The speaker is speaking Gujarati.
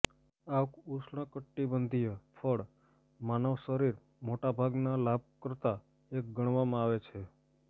આ ઉષ્ણકટિબંધીય ફળ માનવ શરીર મોટા ભાગના લાભકર્તા એક ગણવામાં આવે છે